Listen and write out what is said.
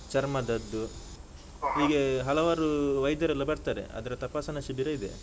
ಚರ್ಮದದ್ದು ಹಲವಾರು ವೈದ್ಯರೆಲ್ಲ ಬರ್ತಾರೆ, ಅದ್ರ ತಪಾಸಣಾ ಶಿಬಿರ ಇದೆ.